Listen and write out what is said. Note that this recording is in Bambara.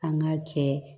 An ka cɛ